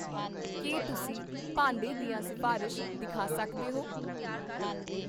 ਕੀ ਤੁਸੀ ਭਾਂਡੇ ਦੀਆਂ ਸਿਫਾਰਸ਼ ਦਿਖਾ ਸਕਦੇ ਹੋ?